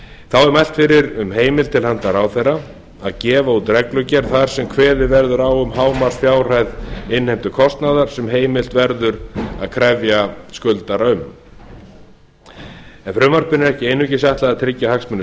þá er mælt fyrir um heimild til handa ráðherra að gefa út reglugerð þar sem kveðið verður á um hámarksfjárhæð innheimtukostnaðar sem heimilt verður að krefja skuldara um en frumvarpinu er ekki einungis ætlað að tryggja hagsmuni